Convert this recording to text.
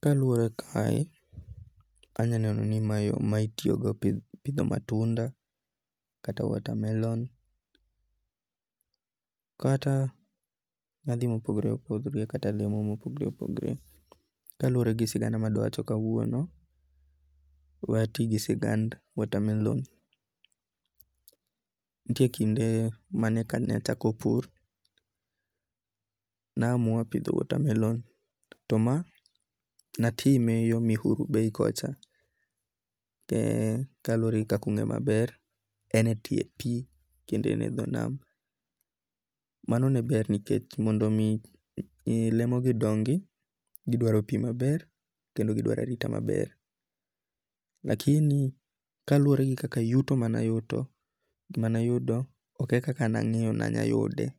Kaluore kae, anyalo neno ni mae yo ma itiyogo epitho matunda kata watermelon, kata yathi ma opogore opogore kata lemo ma opogore opogore kaluore gi sigana ma adwa wach kauono, we ati gi sigand watermelon, nitie kende mane kana adachako pur, ne na amua pitho watermelon to ma anite e yor Mihuru Bei kocha be kaluwore gi kaka unge'yo maber ene ti pie kendo en e tho nam, mano ne ber nikech mondo mi lemoni dongi' gidwaro pi maber kendo gidwaro arita maber, lakini kaluore gi kaka yuto manyuto gimanayudo ok en kaka nange'yo ni anya yude